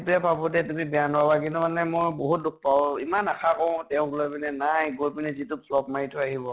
সেইটোৱেই ভাবো দিয়া, তুমি বেয়া নাপাবা । কিন্তু মানে মই বহুত দুখ পাওঁ । ইমান আশা কৰোঁ তেওঁক লৈ পেলাই কিন্তু নাই, গৈ পেলাই যিটো flop মাৰি থই আহিব ।